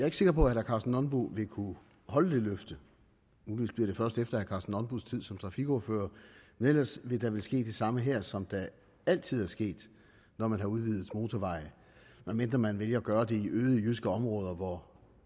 ikke sikker på at herre karsten nonbo vil kunne holde det løfte muligvis bliver det først efter herre nonbos tid som trafikordfører men ellers vil der vel ske det samme her som der altid er sket når man har udvidet motorveje medmindre man vælger at gøre det i øde jyske områder hvor